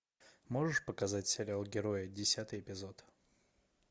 можешь показать сериал герои десятый эпизод